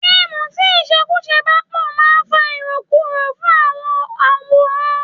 Fíìmù tí ìṣekúṣe bá pò máa ń fa irokuro fún àwọn onworan.